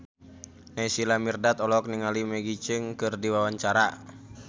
Naysila Mirdad olohok ningali Maggie Cheung keur diwawancara